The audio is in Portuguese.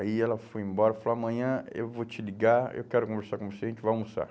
Aí ela foi embora e falou, amanhã eu vou te ligar, eu quero conversar com você, a gente vai almoçar.